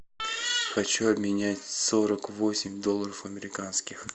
хочу обменять сорок восемь долларов американских